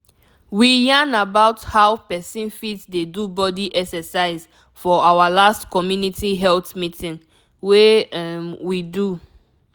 we yarn about how person fit dey do body exercise for our last community health meeting wey um we do.